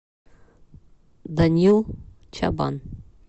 данил чабан